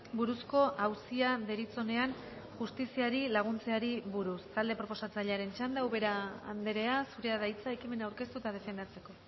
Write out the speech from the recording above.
buruzko auzia deritzonean justiziari laguntzeari buruz talde proposatzailearen txanda ubera andrea zurea da hitza ekimena aurkeztu eta defendatzeko